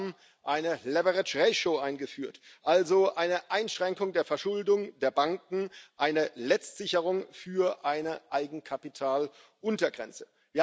Wir haben eine leverage ratio eingeführt, also eine Einschränkung der Verschuldung der Banken, eine Letztsicherung für eine Eigenkapitaluntergrenze.